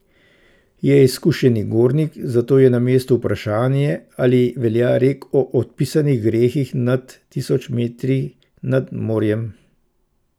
Je izkušeni gornik, zato je na mestu vprašanje, ali velja rek o odpisanih grehih nad tisoč metri nad morjem.